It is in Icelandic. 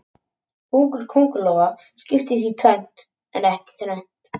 Búkur kóngulóa skiptist í tvennt en ekki þrennt.